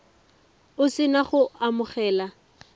o se na go amogela